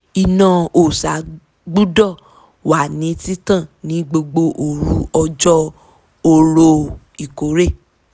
iná òòṣà gbudọ̀ wà ní títàn ní gbogbo òru ọjọ́ orò ìkórè